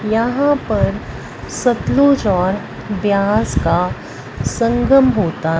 यहां पर सतलुज और व्यास का संगम होता--